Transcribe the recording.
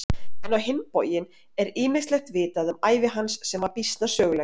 En á hinn bóginn er ýmislegt vitað um ævi hans sem var býsna söguleg.